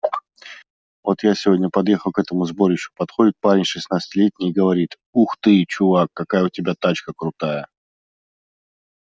вот я сегодня подъехал к этому сборищу подходит парень шестнадцатилетний и говорит ух ты чувак какая у тебя тачка крутая